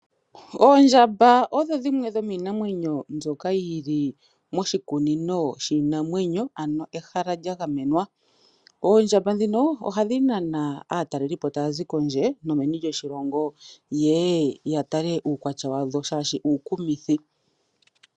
Oondjamba odho dhimwe dhomiinamwenyo mbyoka yili moshikunino shiinanwenyo ano ehala lya gamenwa . Oondjamba ndhino ohadhi nana aatalelipo tayazi kondje nomeni lyoshilongo yeye yatale uukwatya wadho oshoka uukumithi.